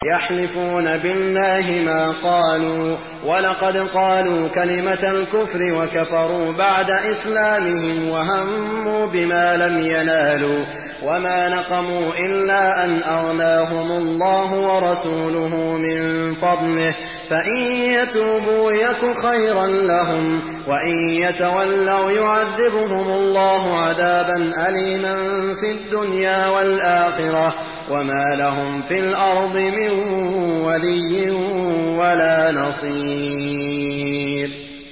يَحْلِفُونَ بِاللَّهِ مَا قَالُوا وَلَقَدْ قَالُوا كَلِمَةَ الْكُفْرِ وَكَفَرُوا بَعْدَ إِسْلَامِهِمْ وَهَمُّوا بِمَا لَمْ يَنَالُوا ۚ وَمَا نَقَمُوا إِلَّا أَنْ أَغْنَاهُمُ اللَّهُ وَرَسُولُهُ مِن فَضْلِهِ ۚ فَإِن يَتُوبُوا يَكُ خَيْرًا لَّهُمْ ۖ وَإِن يَتَوَلَّوْا يُعَذِّبْهُمُ اللَّهُ عَذَابًا أَلِيمًا فِي الدُّنْيَا وَالْآخِرَةِ ۚ وَمَا لَهُمْ فِي الْأَرْضِ مِن وَلِيٍّ وَلَا نَصِيرٍ